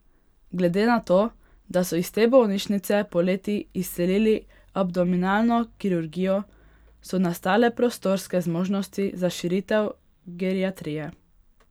Glede na to, da so iz te bolnišnice poleti izselili abdominalno kirurgijo, so nastale prostorske zmožnosti za širitev geriatrije.